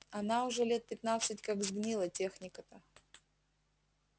она уже лет пятнадцать как сгнила техника-то